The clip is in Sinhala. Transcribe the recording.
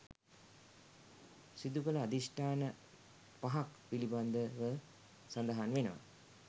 සිදුකළ අධිෂ්ඨාන පහක් පිළිබඳව සඳහන් වෙනවා.